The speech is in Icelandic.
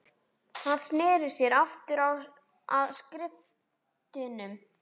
Hann sneri sér aftur að skriftunum.